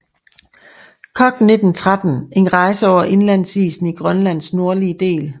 Koch 1913 en rejse over indlandsisen i Grønlands nordlige del